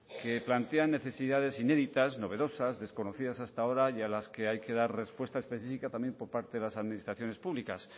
que plantea necesidades inéditas novedosas desconocidas hasta ahora y a las que hay que dar respuesta específica también por parte de las administraciones públicas